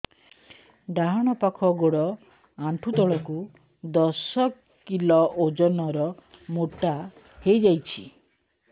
ଡାହାଣ ପାଖ ଗୋଡ଼ ଆଣ୍ଠୁ ତଳକୁ ଦଶ କିଲ ଓଜନ ର ମୋଟା ହେଇଯାଇଛି